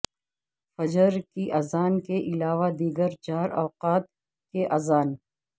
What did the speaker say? فجر کی اذان کے علاوہ دیگر چار اوقات کی اذان